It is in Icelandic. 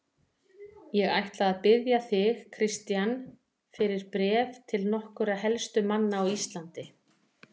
Ég ætla að biðja þig, Christian, fyrir bréf til nokkurra helstu manna á Íslandi.